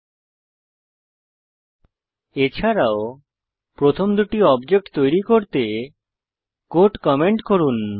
এছাড়াও প্রথম দুটি অবজেক্ট তৈরী করতে কোড কমেন্ট করুন